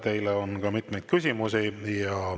Teile on ka mitmeid küsimusi.